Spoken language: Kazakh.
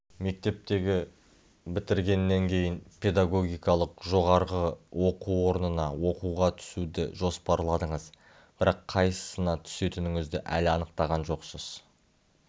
мектепті бітіргеннен кейін педагогикалық жоғарғы оқу орнына оқуға түсуді жоспарладыңыз бірақ қайсысына түсетініңізді әлі анықтаған жоқсыз